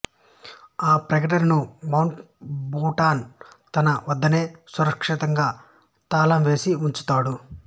ఆ ప్రకటనను Mountbatten తన వద్దనే సురక్షితంగా తాళం వేసి ఉంచుతాడు